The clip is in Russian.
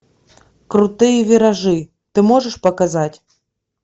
крутые виражи ты можешь показать